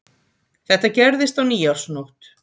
Þetta gerðist á nýársnótt